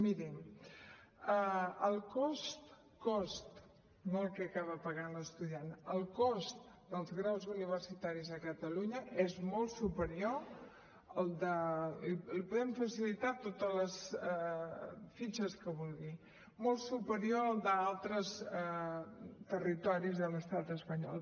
mirin el cost cost no el que acaba pagant l’estudiant dels graus universitaris a catalunya és molt superior al li podem facilitar totes les fitxes que vulgui d’altres territoris de l’estat espanyol